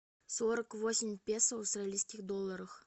сорок восемь песо в австралийских долларах